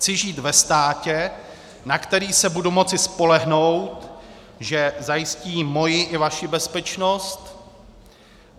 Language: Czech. Chci žít ve státě, na který se budu moci spolehnout, že zajistí moji i vaši bezpečnost.